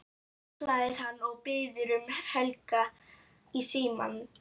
hlær hann og biður um Helga í símann.